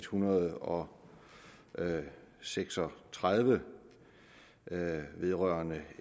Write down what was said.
hundrede og seks og tredive vedrørende